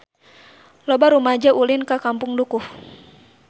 Loba rumaja ulin ka Kampung Dukuh